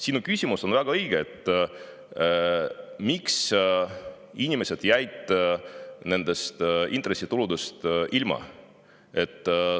Sinu küsimus, miks inimesed jäid intressituludest ilma, on väga õige.